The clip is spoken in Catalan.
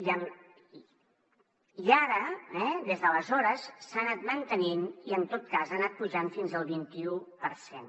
i ara des d’aleshores s’ha anat mantenint i en tot cas ha anat pujant fins al vint i u per cent